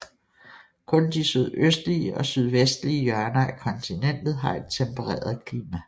Kun de sydøstlige og sydvestlige hjørner af kontinentet har et tempereret klima